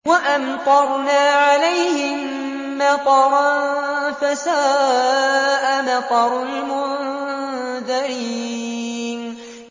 وَأَمْطَرْنَا عَلَيْهِم مَّطَرًا ۖ فَسَاءَ مَطَرُ الْمُنذَرِينَ